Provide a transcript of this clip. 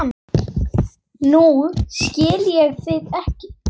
Nú skil ég þig ekki.